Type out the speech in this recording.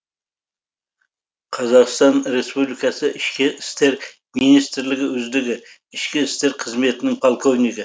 қазақстан республикасы ішкі істер министрлігі үздігі ішкі істер қызметінің полковнигі